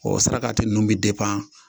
O sarakati ninnu bɛ